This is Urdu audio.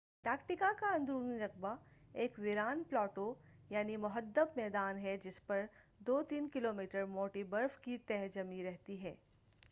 انٹارکٹیکا کا اندرونی رقبہ ایک ویران پلاٹو یعنی مُحدَّب میدان ہے جس پر 2-3 کیلومیٹر موٹی برف کی تہ جمی رہتی ہے